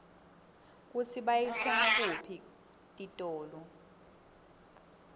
kutsi bayitsenga kutiphi titolo